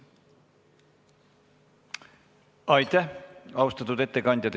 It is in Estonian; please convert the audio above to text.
Aitäh, austatud ettekandja!